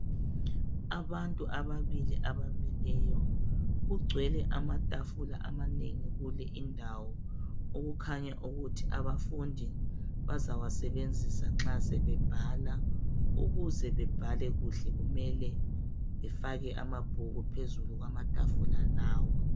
Abantu ababili abamileyo kugcwele amatafula amanengi kule indawo okukhanya ukuthi abafundi bazawasebenzisa nxa sebebhala ukuze bebhale kuhle kumele befake amabhuku phezulu kwamatafula lawa.